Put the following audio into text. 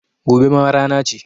Gobe ma rana ce